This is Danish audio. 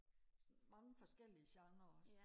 mange forskellige genre også